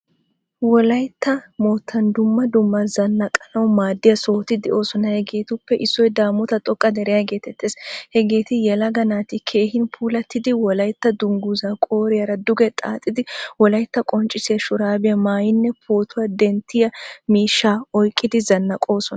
Wolaytta moottan dumma dumma zanaqqanawu maadiya sohotti deosona. Hegetuppe issoy damotta xoqqa deriyaa getettees. Hagetti yelaga naati keehin puulatida wolaytta dunguzza qoriyara duge xaxay, wolaytta qonccissiya ahurabiya maayaynne pootuwaa denttiya miishshaa oyqqidi zanaqosona.